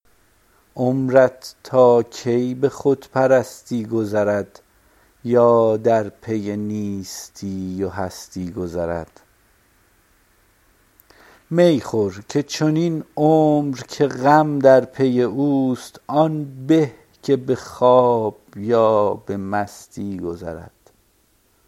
عمرت تا کی به خود پرستی گذرد یا در پی نیستی و هستی گذرد می خور که چنین عمر که غم در پی اوست آن به که به خواب یا به مستی گذرد